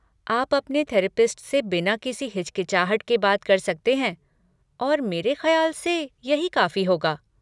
आप अपने थेरपिस्ट से बिना किसी हिचकिचाहट के बात कर सकते हैं और मेरे खयाल से यही काफी होगा।